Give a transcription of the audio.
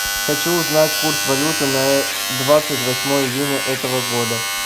хочу узнать курс валюты на двадцать восьмое июня этого года